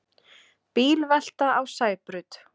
Bílvelta á Sæbraut